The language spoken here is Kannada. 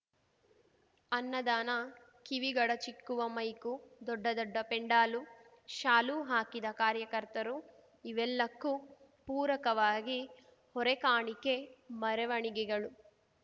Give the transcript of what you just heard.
ಅನ್ನದಾನ ಕಿವಿಗಡಚಿಕ್ಕುವ ಮೈಕು ದೊಡ್ಡ ದೊಡ್ಡ ಪೆಂಡಾಲು ಶಾಲು ಹಾಕಿದ ಕಾರ್ಯಕರ್ತರು ಇವೆಲ್ಲಕ್ಕೂ ಪೂರಕವಾಗಿ ಹೊರೆಕಾಣಿಕೆ ಮರವಣಿಗೆಗಳು